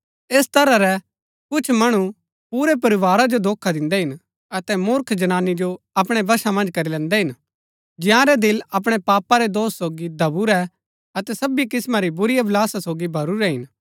ऐस तरह रै कुछ मणु पुरै परिवारा जो धोखा दिन्दै हिन अतै मुर्ख जनानी जो अपणै वशा मन्ज करी लैन्दै हिन जंयारै दिल अपणै पापा रै दोष सोगी दबुरै अतै सबी किस्मा री बुरी अभिलाषा सोगी भरूरै हिन